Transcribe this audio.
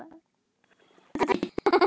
Ímyndin er grárri en svo.